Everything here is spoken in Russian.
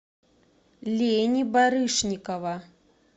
лени барышникова